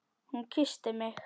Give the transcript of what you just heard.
Hún kyssti mig!